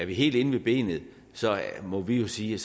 helt ind til benet må vi jo sige